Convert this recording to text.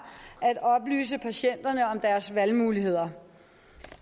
at oplyse patienterne om deres valgmuligheder